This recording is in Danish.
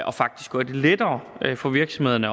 og faktisk gør det lettere for virksomhederne